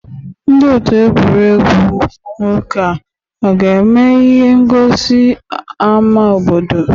Ndị ọtụ̀ egwu nwoke a ga-eme ihe ngọsi n'ámá obodo?